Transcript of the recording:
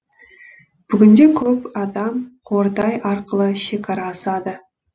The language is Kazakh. бүгінде көп адам қордай арқылы шекара асады